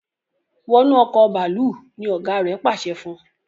wọnú Ọkọ̀ bàálù! ní ọgá rẹ pàṣẹ fún.